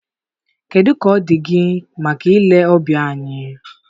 Kedu ka ọ dị gị maka ile ọbịa anyị?